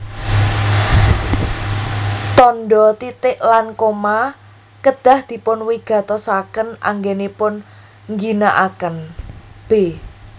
Tandha titik lan koma kedah dipunwigatosaken anggenipun ngginakaken b